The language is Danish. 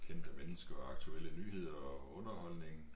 Kendte mennesker og aktuelle nyheder og underholdning